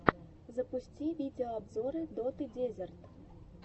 запусти видеообзоры доты дезерт